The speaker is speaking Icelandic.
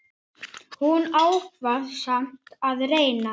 Hún ákvað samt að reyna.